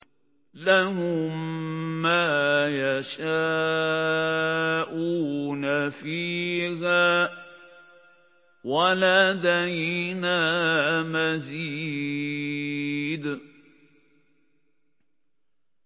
لَهُم مَّا يَشَاءُونَ فِيهَا وَلَدَيْنَا مَزِيدٌ